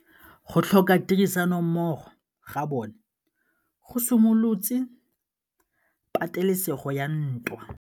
Go tlhoka tirsanommogo ga bone go simolotse patêlêsêgô ya ntwa.